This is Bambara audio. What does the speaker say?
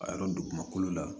A yɔrɔ dugumakolo la